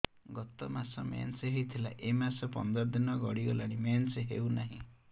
ଗତ ମାସ ମେନ୍ସ ହେଇଥିଲା ଏ ମାସ ପନ୍ଦର ଦିନ ଗଡିଗଲାଣି ମେନ୍ସ ହେଉନାହିଁ